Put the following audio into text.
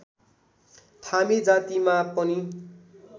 थामी जातिमा पनि